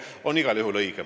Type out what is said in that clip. Andres Herkel, palun!